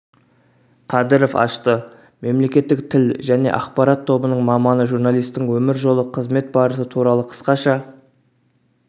қадыров ашты мемлекеттік тіл және ақпарат тобының маманы журналистің өмір жолы қызмет барысы туралы қысқаша